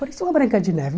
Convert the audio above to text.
Parecia uma branca de neve.